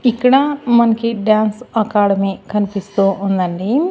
ఇక్కడ మనకి dance academy కన్పిస్తూ ఉందండి.